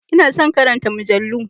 Ina son karanta mujallu